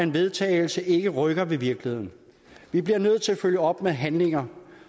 vedtagelse ikke rykker ved virkeligheden vi bliver nødt til at følge op med handlinger